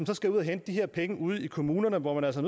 så skal ud at hente de her penge ude i kommunerne hvor man altså